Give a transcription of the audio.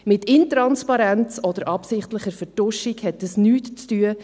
Mit Intransparenz oder absichtlicher Vertuschung hat dies nichts zu tun.